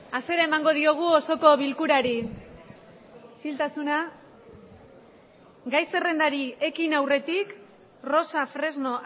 hasiera emango diogu osoko bilkurari isiltasuna gai zerrendari ekin aurretik rosa fresno